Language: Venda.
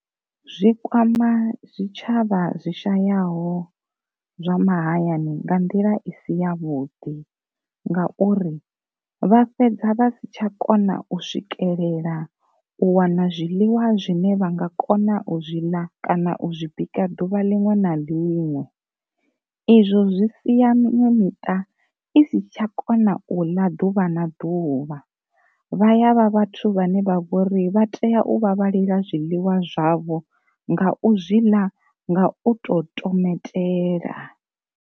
Zwi kwama zwitshavha zwi shayaho zwa mahayani nga nḓila i si ya vhuḓi ngauri, vha fhedza vha si tsha kona u swikelela u wana zwiḽiwa zwine vha nga kona u zwi ḽa kana u zwi bika duvha linwe na linwe, izwo zwi siya miṅwe miṱa i si tsha kona u ḽa ḓuvha na ḓuvha, vha yavha vhathu vhane vha vhori vha tea u vhavhalela zwiḽiwa zwavho nga u zwiḽa nga u to tometela.